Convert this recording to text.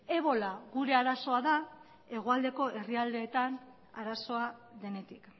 ebola gure arazoa da hegoaldeko herrialdeetan arazoa denetik